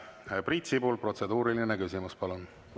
Priit Sibul, protseduuriline küsimus, palun!